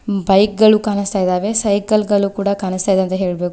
Bike ಗಳು ಕಾಣಿಸ್ತಾ ಇದಾವೆ ಸೈಕಲ್ ಗಳು ಕೂಡ ಕಾಣಿಸ್ತಾ ಇದಾವೆ ಅಂತ ಹೇಳ್ಬೇಕು.